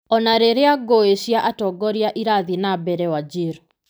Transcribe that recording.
O na rĩrĩa ngũĩ cia atongoria irathiĩ na mbere Wajir.